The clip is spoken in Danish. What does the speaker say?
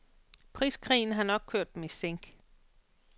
Priskrigen har nok kørt dem i sænk.